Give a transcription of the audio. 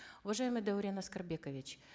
уважаемый даурен аскербекович